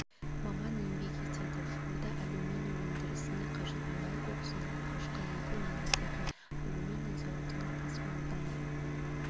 маман еңбек етеді жуырда алюминий өндірісіне қажет мұнай коксының алғашқы легі өңірдегі алюминий зауытына тасымалданды